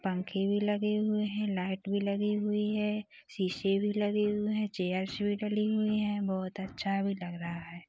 पंखे भी लगी हुई हैं लाइट भी लगे हुए हैं शीशे भी लगे हुए हैं चेयर्स भी डले हुए हैं बहुत अच्छा लग रहा हैं।